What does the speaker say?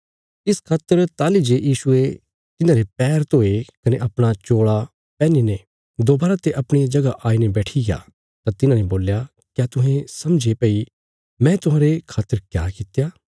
इस खातर ताहली जे यीशुये तिन्हांरे पैर धोये कने अपणा चोल़ा पैहनीने दोबारा ते अपणिया जगह आईने बैठिग्या तां तिन्हांने बोल्या क्या तुहें समझे भई मैं तुहांरे खातर क्या कित्या